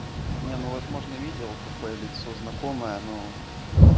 не ну возможно видел такое лицо знакомое но